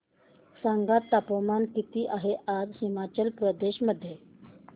सांगा तापमान किती आहे आज हिमाचल प्रदेश मध्ये